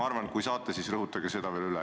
Kui te saate, siis rõhutage seda veel üle.